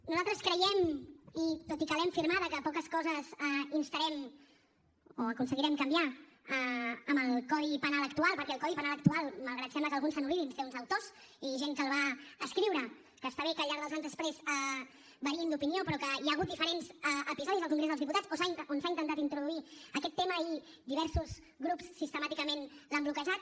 nosaltres creiem i tot i que l’hem firmada que poques coses instarem o aconseguirem canviar en el codi penal actual perquè el codi penal actual malgrat que sembla que alguns se n’oblidin té uns autors i gent que el va escriure que està bé que al llarg dels anys després variïn d’opinió però que hi ha hagut diferents episodis al congrés dels diputats on s’ha intentat introduir aquest tema i diversos grups sistemàticament l’han bloquejat